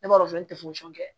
Ne b'a dɔn n tɛ foyi foyi kɛ